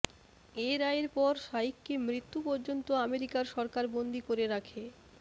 এ রায়ের পর শাইখকে মৃত্যু পর্যন্ত অ্যামেরিকার সরকার বন্দী করে রাখে